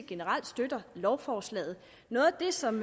generelt støtter lovforslaget noget af det som